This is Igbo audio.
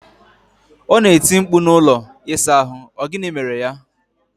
Ona eti mkpu na ụlọ ịsa ahu, O gini mere ya?